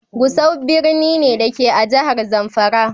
Gusau birni ne, da ke a jihar zamfara.